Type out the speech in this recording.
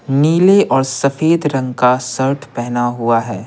नीले और सफेद रंग का शर्ट पहना हुआ है।